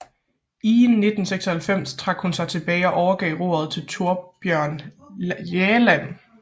I 1996 trak hun sig tilbage og overgav roret til Thorbjørn Jagland